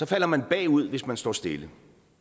falder man bagud hvis man står stille